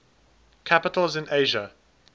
capitals in asia